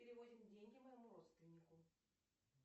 переводим деньги моему родственнику